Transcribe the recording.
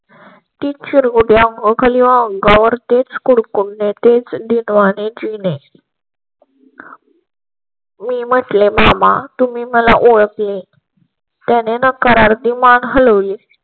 तिच्या गुडघ्या खाली वळून तीच कुडकुडणे तेच दीनवाणी जीने. मी म्हटले, मामा तुम्ही मला ओळखले. त्याने नकारार्थी मान हल वली.